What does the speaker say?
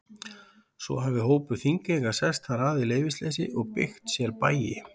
Svo hafi hópur Þingeyinga sest þar að í leyfisleysi og byggt sér bæi.